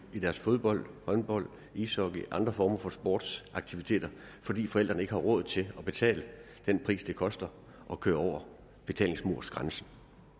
fodbold håndbold ishockey og andre former for sportsaktiviteter fordi forældrene ikke har råd til at betale det det koster at køre over betalingsmursgrænsen